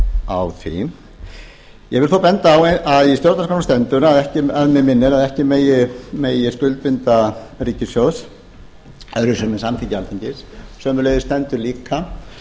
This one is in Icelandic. á því ég vil þó benda á að í stjórnarskránni stendur að mig minnir að ekki megi skuldbinda ríkissjóð öðruvísi en með samþykki alþingis sömuleiðis stendur líka